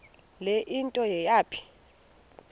le nto yayipha